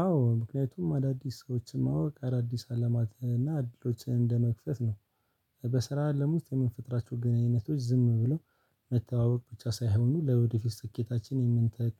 አዎ ምክንያቱም አዳዲስ ሰዎችን ማወቅ አዳዲስ አለማትን እና እድሎችን እንደመክፈት ነው። በስራ አለም ውስጥ የምንፈጥራቸው ግንኙነቶች ዝም ብለው መተዋወቅ ብቻ ሳይሆኑ ለወደፊት ስኬታችን የምንተክ